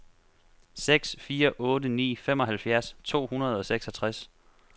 seks fire otte ni femoghalvfjerds to hundrede og seksogtres